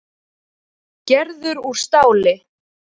Gerður úr stáli.